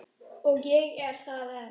Og ég er það enn